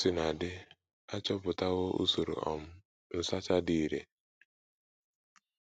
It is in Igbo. Ka o sina dị, a chọpụtawo usoro um nsacha dị irè.